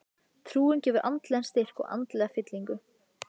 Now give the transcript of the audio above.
Trúin gefur andlegan styrk og andlega fyllingu.